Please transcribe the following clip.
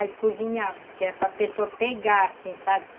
Aí cozinhava, que era para pessoa pegar, assim, sabe?